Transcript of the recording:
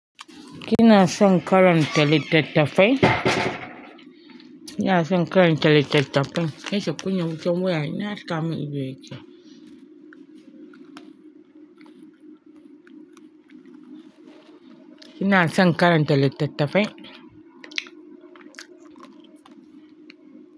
Kina son karanta littattafai? Kina son karanta littattafai? Ki kashe wutan waya, ni haskamun ido yake Kina son karanta littattafai?